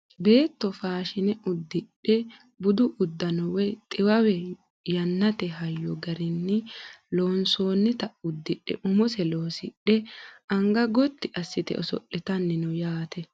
beetto faashine uddidhe budu uddano woye xiwawe yannate hayyo garinni loonsoonnita uddidhe umose loosidhe anga gotti assite os'litanni no yaate